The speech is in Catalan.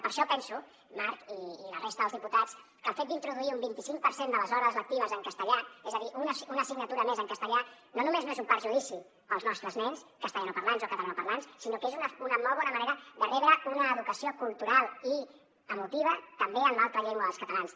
per això penso marc i la resta dels diputats que el fet d’introduir un vint i cinc per cent de les hores lectives en castellà és a dir una assignatura més en castellà no només no és un perjudici per als nostres nens castellanoparlants o catalanoparlants sinó que és una molt bona manera de rebre una educació cultural i emotiva també en l’altra llengua dels catalans